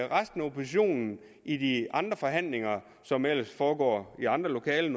resten af oppositionen i de andre forhandlinger som ellers normalt foregår i andre lokaler